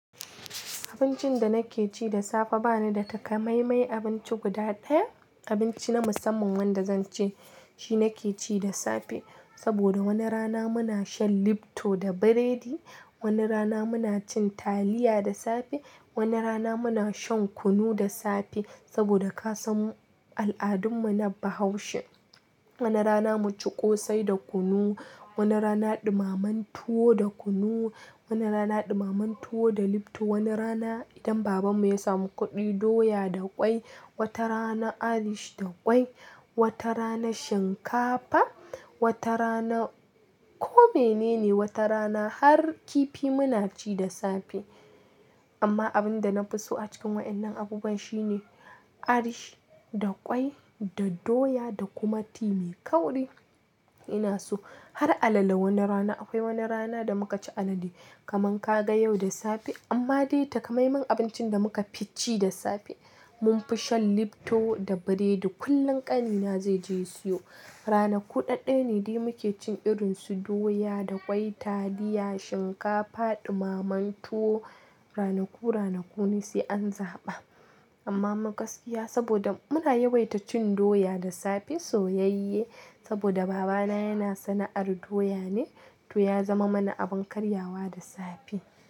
Abincin da nake ci da safe bana da takamaimai abinci guda ɗaya, abinci na musamman wanda zan ce shi nake ci da safe. Saboda wani rana muna shan lipto da biredi, wani rana muna cin taliya da safe, wani rana muna shan kunu da safe. Saboda kasan al'adun mu na Bahaushe, wani rana mu ci ƙosai da kunu, wani rana ɗumamen tuwo da kunu, wani rana ɗumamen tuwo da lipto, wani rana idan babanmu ya samu kuɗi doya da ƙwai, wata rana arish da ƙwai, wata rana shinkafa, wata rana kome nene, wata rana har kifi muna ci da safe. Amma abin da na fi so a cikin wainnan abubuwa shine arish da ƙwai da doya da kuma timi. Kauri ina so har alale wani rana. Akwai wani rana da muka ci alale kaman ka ga yau da safe. Amma dai takamaiman abincin da muka fi ci da safe mun fi shan lipto da biredi. Kullum ƙanina zai je ya siyo. Rana kuɗaɗaya ne dai muke cin irin su doya da ƙwai, taliya, shinkafa, ɗumamen tuwo. Rana ku rana ku ne sai an zaɓa. Amma ma gaskiya saboda muna yawaita cin doya da safe soyayye saboda babana yana sana'ar doya ne, to ya zama mana abin karyawa da safe.